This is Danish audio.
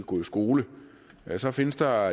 gå i skole så findes der